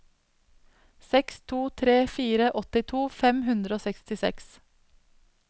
seks to tre fire åttito fem hundre og sekstiseks